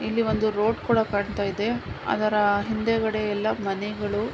ಇಲ್ಲಿ ಒಂದು ರೋಡ್ ಕೂಡ ಕಾಣತ್ತಾಯಿದೆ ಅದರ ಹಿಂದೆಗಡೆ ಎಲ್ಲಾ ಮನೆಗಳು--